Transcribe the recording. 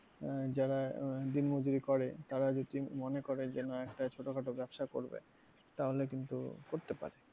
আহ যারা আহ দিনমজুরি করে তারা যদি মনে করে যে না একটা ছোটখাটো ব্যবসা করবে তাহলে কিন্তু করতে পারে।